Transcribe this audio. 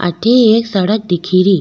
अठे एक सड़क दिख री।